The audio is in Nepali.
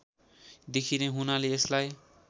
देखिने हुनाले यसलाई